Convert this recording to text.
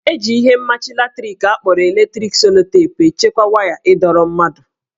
Eji ihe mmachi latrik akpọrọ electric sellotape echekwa waya ịdọrọ mmadụ